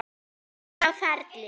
Enginn var á ferli.